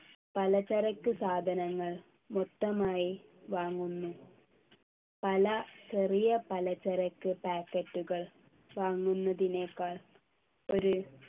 പലചരക്ക് സാധനങ്ങൾ മൊത്തമായി വാങ്ങുന്നു പല ചെറിയ പലചരക്ക് packet കൾ വാങ്ങുന്നതിനേക്കാൾ ഒരു